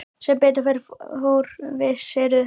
Sem betur fór vissirðu ekki hug minn.